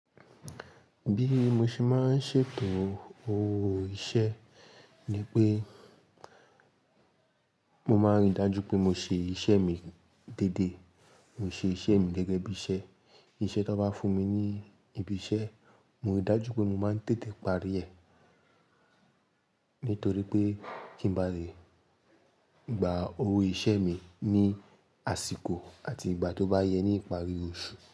Bí mo ṣe máa ń ṣètò o iṣẹ́ ni pé mo máa rí dájú pé mo ṣe iṣẹ́ mi dédé. Mo ṣe iṣẹ́ mi gẹ́gẹ́ bí iṣẹ́. Iṣẹ́ tó bá fún mi ní ibi iṣẹ́, mo rí dájú pé mo máa ń tètè parí rẹ̀ nítorí pé kí ń ba le gbà owo isẹ́ mi ní àsìkò àti ìgbà tó bá yẹ ní ìparí oṣù.